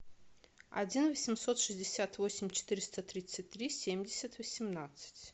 один восемьсот шестьдесят восемь четыреста тридцать три семьдесят восемнадцать